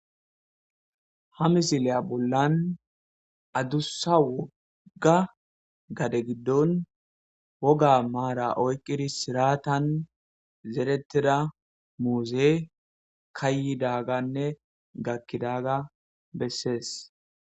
Ha misiliya bollan addussa wogga gade giddon woga maara oyqqidi siratan zerettida muuze kaayidaaganne gakkidaga bessees.